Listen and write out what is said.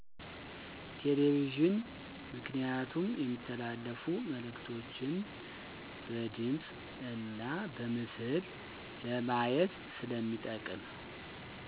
ቴሌቪዥን ምክንያቱም የሚተላለፉ መእልክቶችን በድምፅ እና በምስል ለማየት ስለሚጠቅም